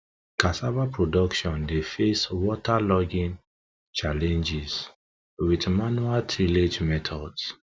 cassava production dey face waterlogging challenges with manual tillage methods